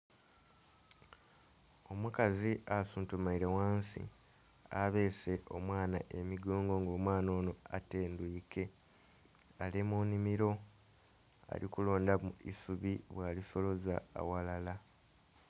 Omukazi asuntumaire wansi abeese omwana emigongo nga omwana ono atendwikwe ali munimiro alikulondamu isubi bwa lisoloza awalala.